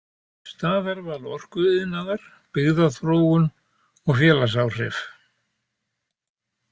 „Staðarval orkuiðnaðar, byggðaþróun og félagsáhrif“.